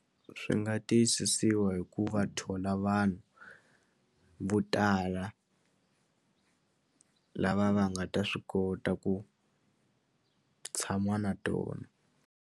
Swi nga tiyisisiwa hikuva thola vanhu vo tala lava va nga ta swi kota ku tshama na tona.